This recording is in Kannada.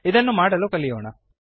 ಇದನ್ನು ಮಾಡಲು ಕಲಿಯೋಣ